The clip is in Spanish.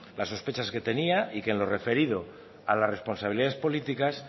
las sospechas que tenía y que en lo referido a las responsabilidades políticas